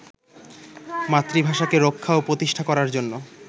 মাতৃভাষাকে রক্ষা ও প্রতিষ্ঠা করার জন্য